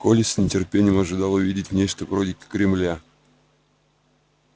коля с нетерпением ожидал увидеть нечто вроде кремля